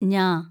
ഞ